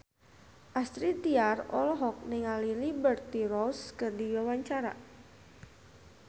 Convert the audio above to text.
Astrid Tiar olohok ningali Liberty Ross keur diwawancara